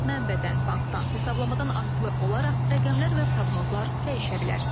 Mənbədən, bankdan, hesablamadan asılı olaraq rəqəmlər və proqnozlar dəyişə bilər.